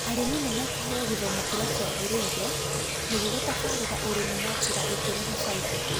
Arĩmi nĩmekũheo gĩthomo kĩrĩa kĩagĩrĩire nĩguo gũtabarĩra ũrĩmi na njira ĩngĩrehe bainda